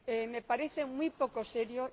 Me parece muy poco serio.